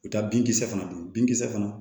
U ka binkisɛ fana don binkisɛ fana